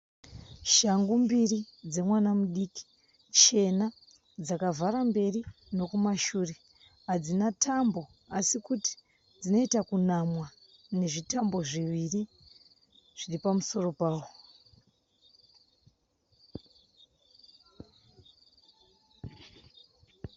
Shangu mbiri dzemwana mudiki chena dzakavhara mberi nokumashure hadzina tambo asi kuti dzinoita kunamwa nezvitambo zviviri zviri pamusoro pawo.